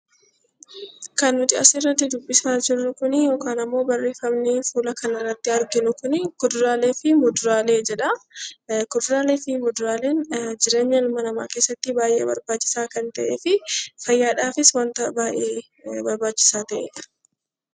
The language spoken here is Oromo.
Kan nuti asirratti dubbisaa jirru kuni yookaan ammoo barreeffamni fuula kanarratti arginu kuni kuduraalee fi muduraalee jedha. Kuduraalee fi muduraaleen jireenya ilma namaa keessatti baay'ee barbaachisaa kan ta'ee fi fayyaadhaa fi waanta baay'ee barbaachisaa ta'edha.